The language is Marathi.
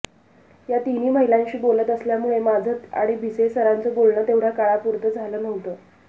या तिन्ही महिलांशी बोलत असल्यामुळे माझं आणि भिसे सरांचं बोलणं तेवढ्या काळापुरतं झालं नव्हतं